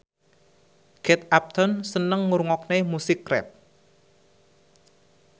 Kate Upton seneng ngrungokne musik rap